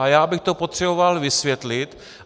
A já bych to potřeboval vysvětlit.